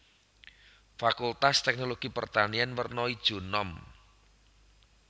Fakultas Teknologi Pertanian werna ijo enom